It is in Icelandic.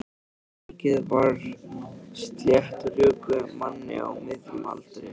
Líkið var af sléttrökuðum manni á miðjum aldri.